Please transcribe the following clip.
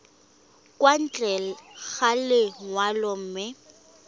kwa ntle ga lenyalo mme